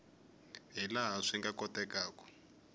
hi laha swi nga kotekaku